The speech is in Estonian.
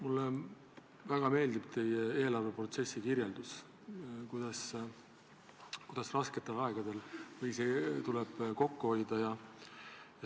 Mulle väga meeldib teie eelarveprotsessi kirjeldus, kuidas rasketel aegadel tuleb kokku hoida.